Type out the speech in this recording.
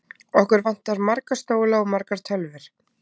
Okkur vantar marga stóla og margar tölvur.